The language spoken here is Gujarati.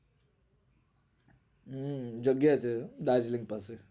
હમ જગ્યા છે darjeeling પાસે